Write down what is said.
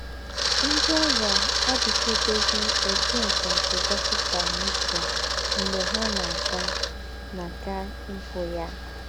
NDỊ́ ọ́rịà àdị̀kèbèghị́ ébù ńsọ̀nsọ̀ dọ́kịtà n’ùchè m̀gbè ha ná-àgà ná-àgà íhụ́ ya.